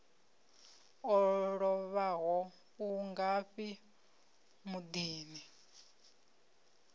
o lovhaho u ngafhi muḓini